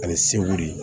Ani segu de